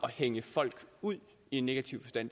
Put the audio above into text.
at hænge folk ud i en negativ forstand